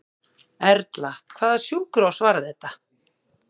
Erla: Hvaða sjúkrahús var þetta?